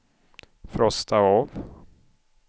frosta av